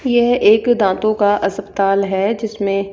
यह एक दांतों का अस्पताल है जिसमें--